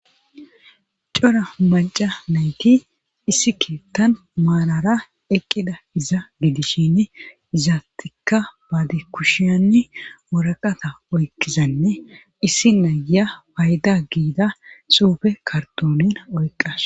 cora maca nayti issi keettan marara eqqida iza gidishin izaattikka baadi kushiyanni woraqata oykizanne issi naya payda giida suufe kartone oyqqas